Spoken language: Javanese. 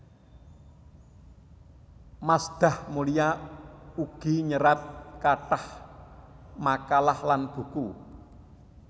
Masdah Mulia ugi nyerat kathah makalah lan buku